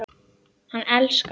Hann elskar okkur.